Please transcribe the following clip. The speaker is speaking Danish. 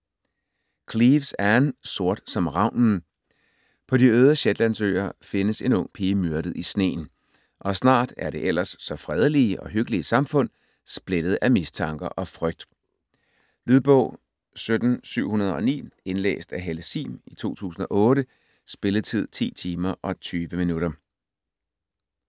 Cleeves, Ann: Sort som ravnen På de øde Shetlandsøer findes en ung pige myrdet i sneen, og snart er det ellers så fredelige og hyggelige samfund splittet af mistanker og frygt. Lydbog 17709 Indlæst af Helle Sihm, 2008. Spilletid: 10 timer, 20 minutter.